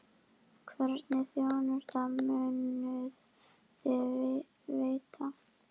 Hvernig þjónustu munuð þið veita?